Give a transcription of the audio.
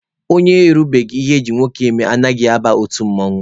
Onye erubeghi ihe eji nwoke eme anaghị aba otu mmanwụ.